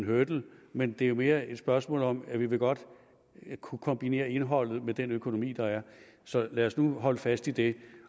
hurdle men det er jo mere et spørgsmål om at vi godt vil kunne kombinere indholdet med den økonomi der er så lad os nu holde fast i det